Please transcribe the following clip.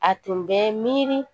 A tun bɛ miiri